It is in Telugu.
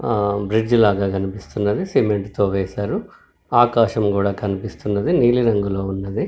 ఆ బ్రిడ్జి లాగా కనిపిస్తున్నది సిమెంట్ తో వేశారు ఆకాశం కూడా కనిపిస్తున్నది నీలి రంగులో ఉన్నదీ.